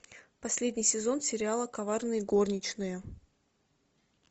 последний сезон сериала коварные горничные